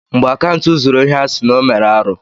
Mgbe Akantụ zuru ohi a sị na ọ mere arụ́.